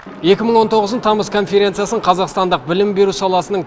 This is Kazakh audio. екі мың он тоғыздың тамыз конференциясын қазақстандық білім беру саласының